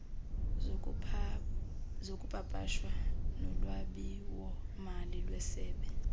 zokupapasha nolwabiwomali lwesebe